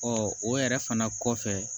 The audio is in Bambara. o yɛrɛ fana kɔfɛ